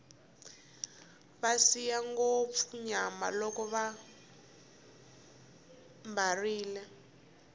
va siya ngopfu nyama loko vambarile